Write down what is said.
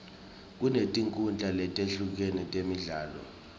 kunetinkhundla letehlukene temidlalo